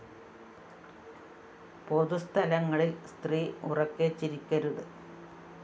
പൊതുസ്ഥലങ്ങളില്‍ സ്ത്രീ ഉറക്കെ ചിരിക്കരുത്